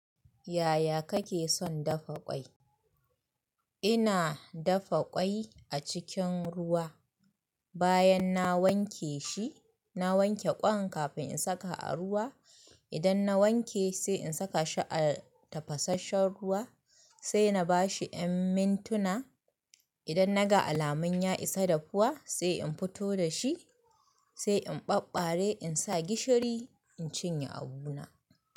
Yaya kake son dafa ƙwai? Ina dafa ƙwai a cikin ruwa. Bayan na wanke shi, na wanke ƙwan kafin in saka a ruwa. Idan na wanke sai in saka shi a tafasasshen ruwa, sai na ba shi mintuna. Idan na ga alamun ya isa dafuwa sai in fito da shi, sai in ɓaɓɓare in sa gishiri in cinye abuna.